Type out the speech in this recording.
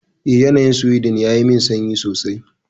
Eh, yanayin Sweden yayi min sanyi sosai.